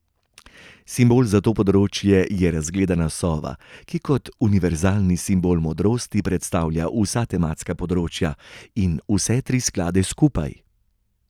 Simbol za to področje je razgledana sova, ki kot univerzalni simbol modrosti predstavlja vsa tematska področja in vse tri sklade skupaj.